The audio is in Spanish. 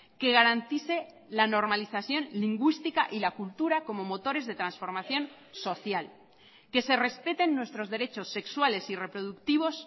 que garantice la normalización lingüística y la cultura como motores de transformación social que se respeten nuestros derechos sexuales y reproductivos